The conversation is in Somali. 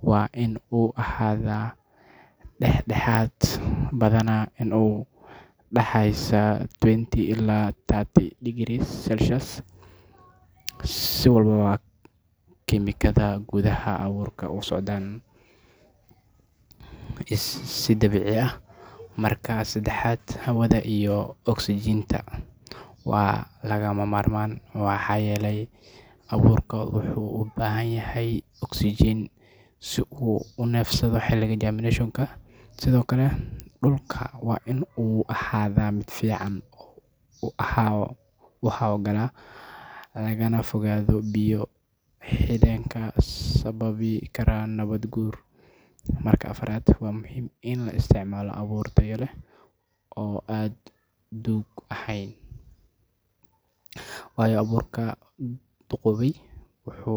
waa in uu ahaadaa dhexdhexaad, badanaa inta u dhaxaysa twenty ilaa thirty degrees Celsius, si hawlaha kiimikada gudaha abuurka u socdaan si dabiici ah. Marka saddexaad, hawada iyo oksijiinta waa lagama maarmaan maxaa yeelay abuurku wuxuu u baahan yahay oksijiin si uu u neefsado xilliga germination-ka. Sidoo kale, dhulka waa in uu ahaadaa mid si fiican u hawo-gala, lagana fogaado biyo-xidheenka sababi kara nabaad-guur. Marka afaraad, waxaa muhiim ah in la isticmaalo abuur tayo leh oo aan duug ahayn, waayo abuurka duqoobay wuxuu.